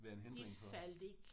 Være en hindring for?